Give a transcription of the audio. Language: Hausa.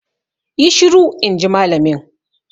Yi shiru! in ji malamin.